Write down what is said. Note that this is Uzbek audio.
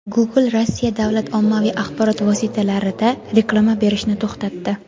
Google Rossiya davlat ommaviy axborot vositalarida reklama berishni to‘xtatdi.